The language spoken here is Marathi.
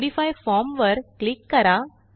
मॉडिफाय फॉर्म वर क्लिक करा